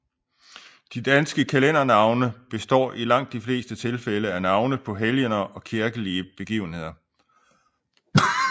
De danske kalendernavne består i langt de fleste tilfælde af navne på helgener og kirkelige begivenheder